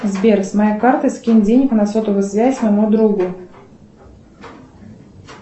сбер с моей карты скинь денег на сотовую связь моему другу